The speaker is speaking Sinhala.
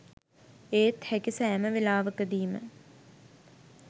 ඒත් හැකි සෑම වෙලාවකදීම